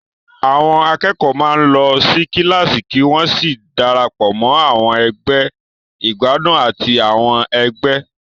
Àwọn akẹ́kọ̀ọ́ máa ń lọ sí kíláàsì kí wọ́n sì darapọ̀ mọ́ àwọn ẹgbẹ́ ìgbádùn àti àwọn ẹgbẹ́.